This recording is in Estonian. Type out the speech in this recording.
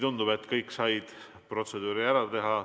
Tundub, et kõik said protseduuri ära teha.